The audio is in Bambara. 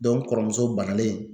n kɔrɔmuso bannalen